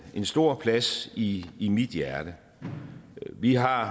en stor plads i i mit hjerte vi har